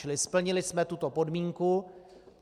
Čili splnili jsme tuto podmínku.